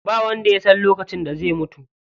Ba wanda yasan lokacin da zai mutu.